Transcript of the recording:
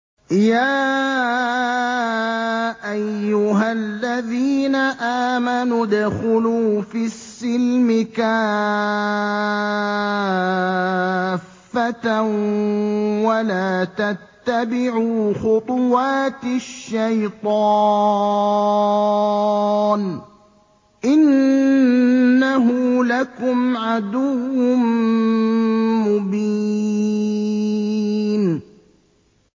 يَا أَيُّهَا الَّذِينَ آمَنُوا ادْخُلُوا فِي السِّلْمِ كَافَّةً وَلَا تَتَّبِعُوا خُطُوَاتِ الشَّيْطَانِ ۚ إِنَّهُ لَكُمْ عَدُوٌّ مُّبِينٌ